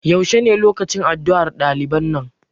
yaushe ne lokacin addu'ar ɗaliban nan?